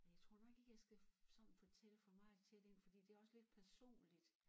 Jeg tror nok ikke jeg skal sådan fortælle for meget tæt ind fordi det også lidt personligt